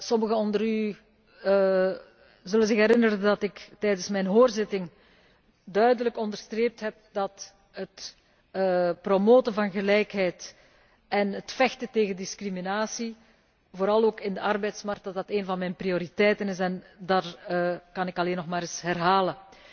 Sommigen onder u zullen zich herinneren dat ik tijdens mijn hoorzitting duidelijk onderstreept heb dat het promoten van gelijkheid en het vechten tegen discriminatie, vooral ook op de arbeidsmarkt, een van mijn prioriteiten is en dat kan ik alleen nog maar eens herhalen.